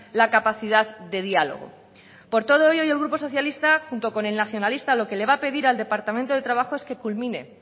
la capacidad de diálogo por todo ello hoy el grupo socialista junto con el nacionalista lo que le va a pedir al departamento de trabajo es que culmine